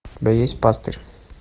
у тебя есть пастырь